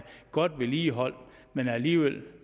godt vedligeholdt men alligevel